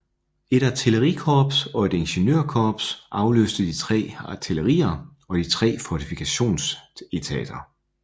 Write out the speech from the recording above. Et artillerikorps og et Ingeniørkorps afløste de 3 artillerier og de 3 fortifikationsetater